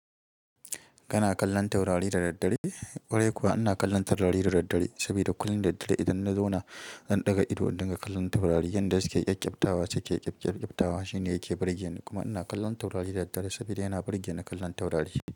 Kana kallon taurari da daddare? Ƙwarai kuwa ina kallon taurari da daddare saboda kullum daddare idan na zauna zan ɗaga ido in dinga kallon taurari. Inda suke yake ƙyabtawa shine yake burge ni. Kuma ina kallon taurari da daddare saboda yana burge ni kallon taurari.